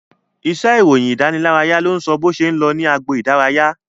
Iṣẹ́ ìròyìn ìdánilárayá ló ń sọ bó ṣe ń lọ ní agbo idaraya